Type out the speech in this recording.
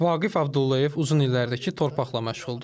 Vaqif Abdullayev uzun illərdir ki, torpaqla məşğuldur.